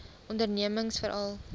ondernemingsveral